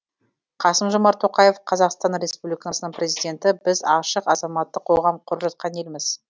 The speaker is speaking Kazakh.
қасым жомарт тоқаев қазақстан республикасының президенті біз ашық азаматтық қоғам құрып жатқан елміз